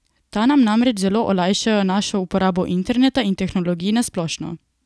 Ta nam namreč zelo olajšajo našo uporabo interneta in tehnologij na splošno.